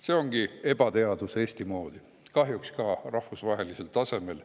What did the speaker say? See ongi ebateadus Eesti moodi, kahjuks ka rahvusvahelisel tasemel.